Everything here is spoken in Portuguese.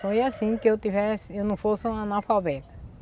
Sonhei, assim, que eu tivesse, eu não fosse uma analfabeta.